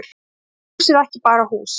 Því að hús er ekki bara hús.